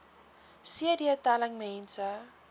cd telling mense